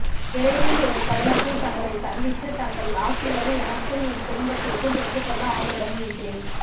விரைவில் ஒரு தருணத்தில் தங்களைச் சந்தித்து தங்கள் ஆசிகளை எனக்கும் என் குடும்பத்திற்கும் பெற்றுக்கொள்ள ஆவலுடன் இருக்கிறேன்